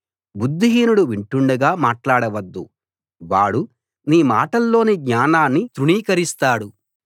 బుద్ధిహీనుడు వింటుండగా మాట్లాడ వద్దు వాడు నీ మాటల్లోని జ్ఞానాన్ని తృణీకరిస్తాడు